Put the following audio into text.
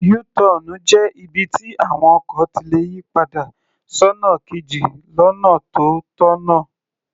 Yú-tọọ̀nù jẹ́ ibi tí àwọn ọkọ̀ ti lè yì padà sọ́nà kejì lọ́nà tó tọ̀nà.